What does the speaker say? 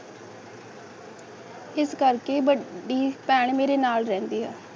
ਇਸ ਕਰਕੇ ਵੱਡੀ ਭੈਣ ਮੇਰੇ ਨਾਲ ਰਹਿੰਦੀ ਹੈ